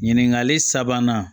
Ɲininkali sabanan